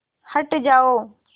हट जाओ